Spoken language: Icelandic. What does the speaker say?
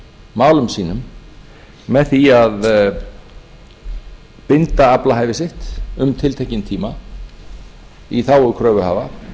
málum sínum með því að binda aflahæfi sitt um tiltekinn tíma í þágu kröfuhafa